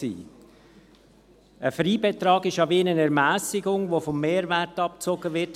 Ein Freibetrag ist wie eine Ermässigung, welche vom Mehrwert abgezogen wird.